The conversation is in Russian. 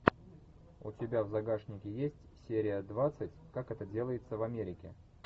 у тебя в загашнике есть серия двадцать как это делается в америке